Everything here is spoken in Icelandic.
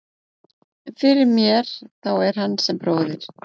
En fyrir mér þá er hann sem bróðir.